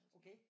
Okay